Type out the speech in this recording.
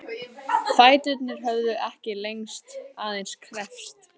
Fæturnir höfðu ekkert lengst, aðeins kreppst.